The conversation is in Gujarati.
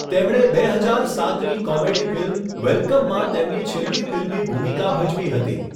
તેમણે બે હજાર સાતની કોમેડી ફિલ્મ 'વેલકમ'માં તેમની છેલ્લી ફિલ્મી ભૂમિકા ભજવી હતી.